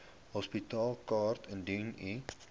hospitaalkaart indien u